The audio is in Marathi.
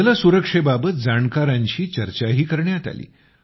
जल सुरक्षेबाबत जाणकारांशी चर्चाही करण्यात आली